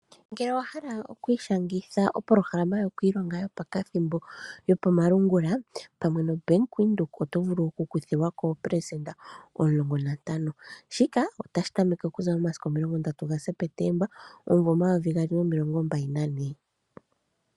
Ngele owahala okwiishangitha opoloholama yokwiilonga yopakathimbo yopamalungula, pamwe noBank Windhoek otovulu okukuthilwako 15% shika otashi tameke momasiku 30 septemba 2024.